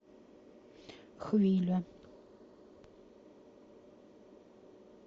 хвиля